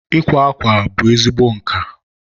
ịkwa akwa bụ ezigbo nka.